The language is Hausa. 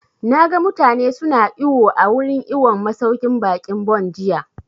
Na ga mutane su na iwo a wurin iwon masauƙin baƙin Bon jiya